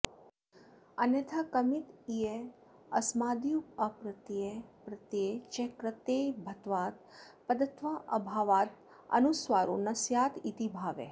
अन्यथा कमित्यस्माद्युप्रत्यये यप्रत्यये च कृते भत्वात्पदत्वाऽभावादनुस्वारो न स्यादिति भावः